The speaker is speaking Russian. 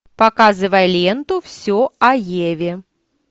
показывай ленту все о еве